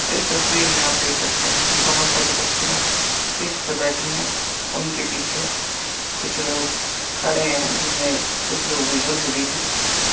इस तस्वीर में आप देख सकते है कि बोहोत सारी बच्चियाँ स्टेज पर बैठी है। उनके पीछे कुछ लोग खड़े हैं जिनमें कुछ लोग बुजुर्ग भी है। त --